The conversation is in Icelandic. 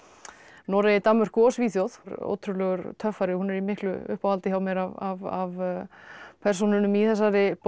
Noregi Danmörku og Svíþjóð ótrúlegur töffari hún er í miklu uppáhaldi hjá mér af persónunum í þessari bók